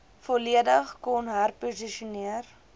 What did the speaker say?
volledig kon herposisioneer